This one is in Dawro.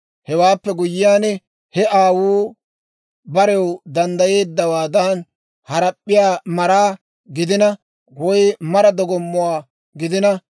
Hewaappe guyyiyaan, he aawuu barew danddayeeddawaadan harap'p'iyaa maraa gidina woy mara dogommuwaa gidina,